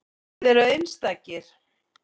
Þið eruð einstakir.